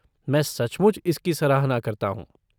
मैं सचमुच इसकी सराहना करता हूँ।